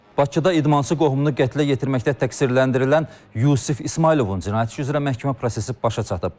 Bakıda idmançı qohumunu qətlə yetirməkdə təqsirləndirilən Yusif İsmayılovun cinayət işi üzrə məhkəmə prosesi başa çatıb.